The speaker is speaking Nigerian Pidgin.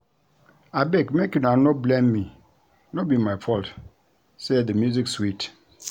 Abeg make una no blame me no be my fault say the music sweet